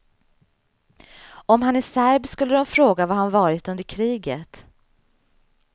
Om han är serb skulle de fråga var han varit under kriget.